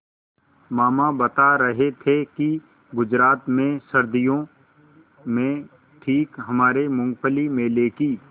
मामा बता रहे थे कि गुजरात में सर्दियों में ठीक हमारे मूँगफली मेले की